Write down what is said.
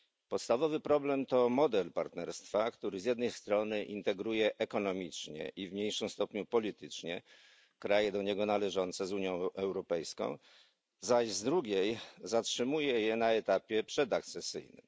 Podstawowy problem to model partnerstwa, który z jednej strony integruje ekonomicznie i w mniejszym stopniu politycznie kraje do niego należące z Unią Europejską, zaś z drugiej zatrzymuje je na etapie przedakcesyjnym.